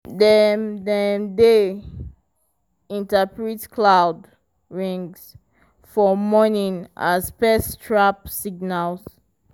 dem dem dey interpret cloud rings for morning as pest trap signals.